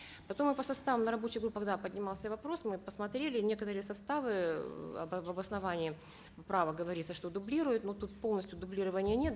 потом и по составу на рабочих группах да поднимался вопрос мы посмотрели некоторые составы ыыы в обосновании права говорится что дублируют но тут полностью дублирования нет